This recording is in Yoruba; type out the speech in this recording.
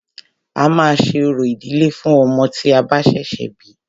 A máà ṣe orò ìdílé fún ọmọ tí a bá ṣẹ̀ṣẹ̀ bí.